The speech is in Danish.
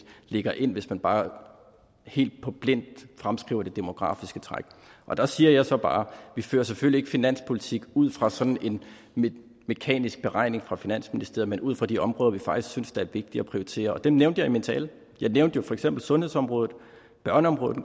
lægger ind hvis man bare helt blindt fremskriver det demografiske træk der siger jeg så bare vi fører selvfølgelig ikke finanspolitik ud fra sådan en mekanisk beregning fra finansministeriet men ud fra de områder vi faktisk synes er vigtige at prioritere og dem nævnte jeg i min tale jeg nævnte for eksempel sundhedsområdet børneområdet